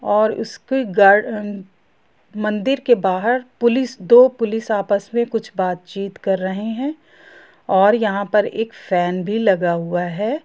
और इसके घर पर मंदिर के बाहर पुलिस दो पुलिस आपस मे से कुछ बात चीत कर रहे है और यहां पर एक फेन भी लगा हुआ है।